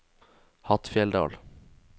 Hattfjelldal